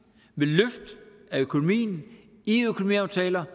ved løft af økonomien i økonomiaftaler